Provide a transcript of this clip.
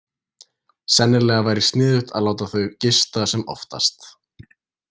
Sennilega væri sniðugt að láta þau gista sem oftast.